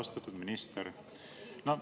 Austatud minister!